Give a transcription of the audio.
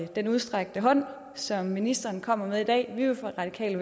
den udstrakte hånd som ministeren kommer med i dag vi vil fra radikale